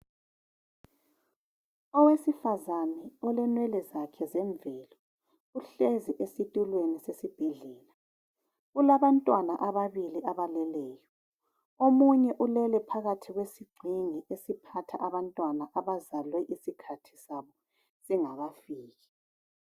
Owesifazana ,olenwele zakhe zemvelo, uhlezi esitulweni esibhedlela. Kulabantwana ababili abaleleyo. Omunye ulele phakathi kwesigxingi esiphatha abantwana abazalwe isikhathi sabo singakafiki.